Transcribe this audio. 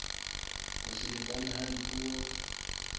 ho se lekane ha dipuo